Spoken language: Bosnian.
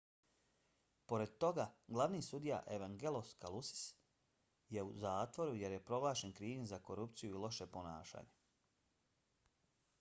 pored toga glavni sudija evangelos kalousis je u zatvoru jer je proglašen krivim za korupciju i loše ponašanje